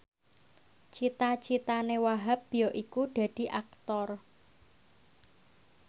cita citane Wahhab yaiku dadi Aktor